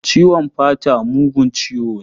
Ciwon hanta mugun ciwo ne.